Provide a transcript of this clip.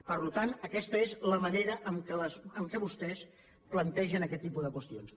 per tant aquesta és la manera en què vostès plantegen aquest tipus de qüestions